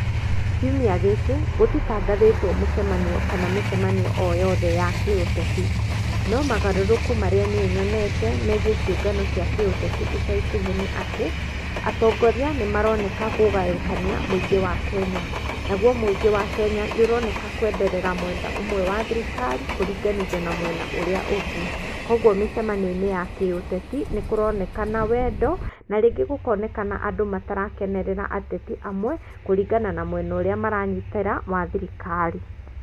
Kiumia gĩkĩ gũtitangathitwo mũcemanio kana mĩcemanio o yothe ya kĩ-ũteti, no mogarũrũku marĩa niĩ nyonete nĩ ciũngano cia kĩ-ũteti ica ikuhĩ nĩ atĩ, atongoria nĩ maroneka kũgayũkania mũingĩ wa Kenya, naguo mũingĩ wa Kenya, nĩ ũroneka kwenderera mwena ũmwe wa thirikari, kũringanithia na mwena ũria ũngĩ, koguo mĩcemanio-inĩ ya kĩ-ũteti, nĩ kũronekana wendo, na rĩngĩ gũkonekana andũ matarakenerera ateti amwe, kũringana na mwena ũrĩa maranyitĩra wa thirikari.